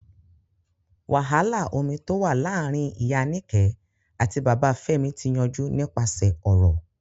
Wàhálà omi tó wà láàrin Ìyá Níkẹ̀ àti Bàbá Fẹ́mi ti yanjú nípasẹ̀ ọ̀rọ̀.